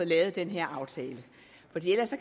lavet den her aftale